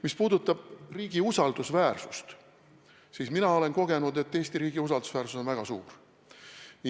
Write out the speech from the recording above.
Mis puudutab riigi usaldusväärsust, siis mina olen kogenud, et Eesti riigi usaldusväärsus on väga suur.